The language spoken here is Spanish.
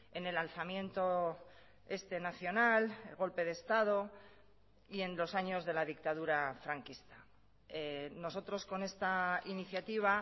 en el alzamiento este nacional el golpe de estado y en los años de la dictadura franquista nosotros con esta iniciativa